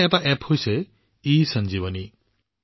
এনে এটা এপ আছে ইসঞ্জীৱনী